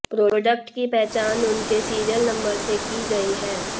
product की पहचान उनके सीरियल नंबर से की गई है